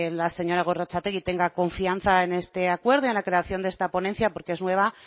la seña gorrotxategi tenga confianza en este acuerdo en la creación de esta ponencia porque es nueva